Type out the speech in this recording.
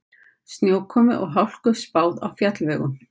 Snjókomu og hálku spáð á fjallvegum